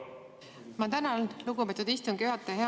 Ma tänan, lugupeetud istungi juhataja!